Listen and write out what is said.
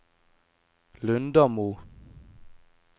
Lundamo